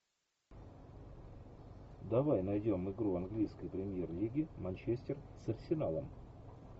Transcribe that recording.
давай найдем игру английской премьер лиги манчестер с арсеналом